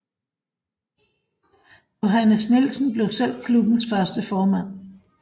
Johannes Nielsen blev selv klubbens første formand